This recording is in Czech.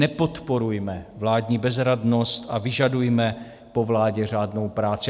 Nepodporujme vládní bezradnost a vyžadujme pro vládě řádnou práci.